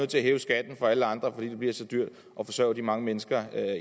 til at hæve skatten for alle andre fordi det bliver så dyrt at forsørge de mange mennesker